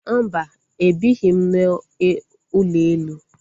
Mba, ebighị m n'ụlọ elu